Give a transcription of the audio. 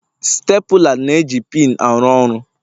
Stapula na-eji pinu aru ọrụ.